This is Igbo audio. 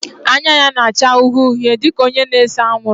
Anya ya na-acha uhie uhie dị ka onye na-ese anwụrụ